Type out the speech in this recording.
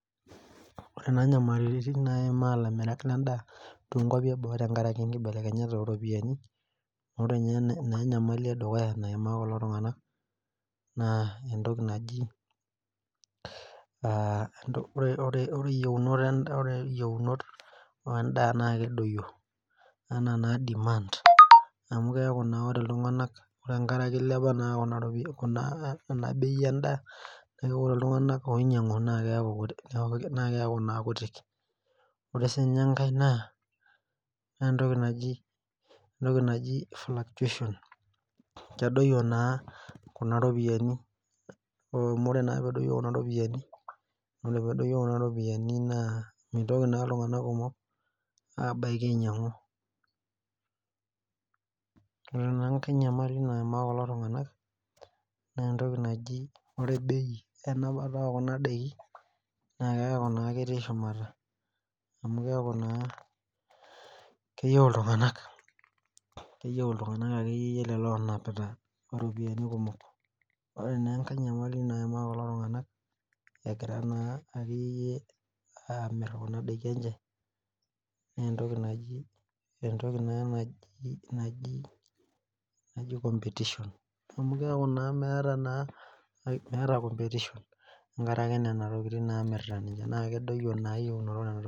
Orekunanyamalitin naimaa lamirak lendaa tonkwapi eboo tenkaraki nkibalekenyat oropiyiani ore nye enyamali edukuya na entoki naji ore yiounot endaa na kedoyio anaa demand amu keaku na ore ltunganak ore amu ilepea endaa ore enkae na ore entoki naji fluctuations kedoyio na ropiyani wmu ore pedoyio kuna ropiyani mebaki ltunganak ainyangu ore enkae nyamali naimaa kulo tunganak na ore bei enapata ekunadakini neaku ketii shumata keyieu ltunganak onapati mpisai kumok entoki naji competition metaa competition tenkaraki inasia naasita ana eyieunoto.